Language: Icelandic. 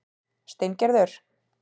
Steingerður